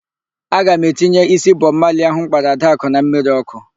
Aga m etinye ísí Bọb Mali ahụ m kpara Adakụ na mmiri ọ́kụ́.